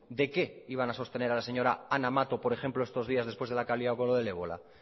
de qué iban a sostener a la señora ana mato por ejemplo estos días después de la que ha liado con lo del ébola